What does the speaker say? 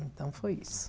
Então foi isso.